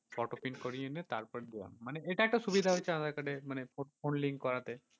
photo print করিয়ে এনে তারপরে দিলাম। মানে এটা একটা সুবিধা হয়েছে aadhaar card এ মানে phone link করাতে।